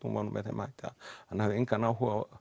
hún var með þeim hætti að hann hafði engan áhuga á